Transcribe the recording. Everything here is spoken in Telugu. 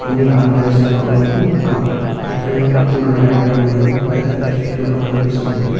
కొన్ని కాలి ప్రదేశాలు ఉన్నాయి ఎక్కడైనా మొత్తం గ్రీనారి గా ఉన్నాయి. పెద్ద పెద్ద చెట్లు కూడా కనిపిస్తున్నాయి.